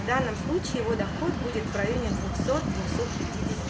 в данном случае его доход будет в районе двухсот двухсот пяти